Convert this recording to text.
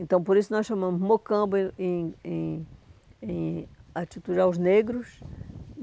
Então, por isso, nós chamamos Mocambo em em em em atitude aos negros.